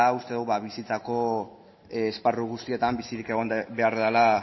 uste dugu bizitzako esparru guztietan bizirik egon behar dela